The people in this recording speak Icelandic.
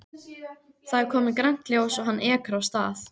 Það er komið grænt ljós og hann ekur af stað.